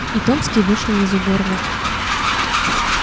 и томский вышел из уборной